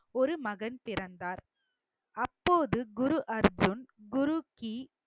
ஒரு மகன் பிறந்தார் அப்போது குரு அர்ஜுன் குருகி